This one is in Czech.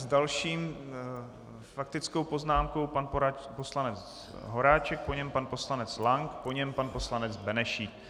S další faktickou poznámkou pan poslanec Horáček, po něm pan poslanec Lank, po něm pan poslanec Benešík.